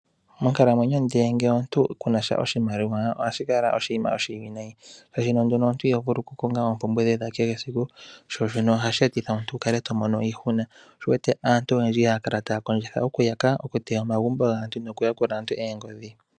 Monkalamwenyo ngele omuntu ku na sha oshimaliwa, ohashi kala oshinima oshiwinayi shaashino omuntu iho vulu oku konga oompumbwe dhoye dha kehe esiku. Sho shino ohashi e titha omuntu wu kale to mono iihuna. Sho osho wu wete aantu oyendji haya kala ya hala oku yaka, oku teya omagumbo gaantu noku yakula aantu oongodhi.